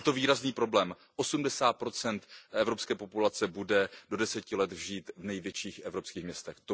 Je to výrazný problém, 80 evropské populace bude do deseti let žít v největších evropských městech.